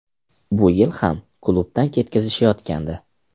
Bu yil ham klubdan ketkazishayotgandi.